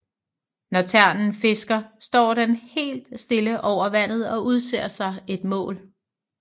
Når ternen fisker står den helt stille over vandet og udser sig et mål